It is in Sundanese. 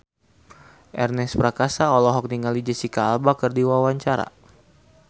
Ernest Prakasa olohok ningali Jesicca Alba keur diwawancara